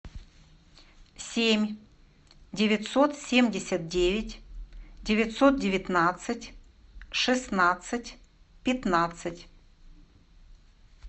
семь девятьсот семьдесят девять девятьсот девятнадцать шестнадцать пятнадцать